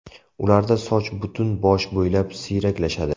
Ularda soch butun bosh bo‘ylab siyraklashadi.